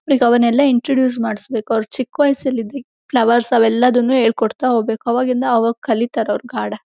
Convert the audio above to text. ಅವನೆಲ್ಲಾ introduce ಮಾಡಸಬೇಕು ಅವರ ಚಿಕ್ಕ ವಯಸ್ಸಲ್ಲಿ ಫ್ಲವರ್ಸ್ ಅವೇಲ್ಲಾದುನ್ನು ಹೇಳ್ಕೊಡ್ತ್ತಾ ಹೋಬೇಕು ಆವಾಗ ಇಂದ ಅವರು ಕಲೀತಾರೆ ಗಾಢ.